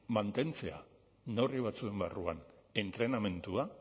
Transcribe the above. mantentzea neurri batzuen barruan entrenamendua